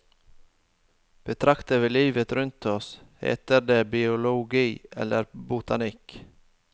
Betrakter vi livet rundt oss, heter det biologi eller botanikk.